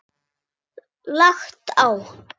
Lagt á.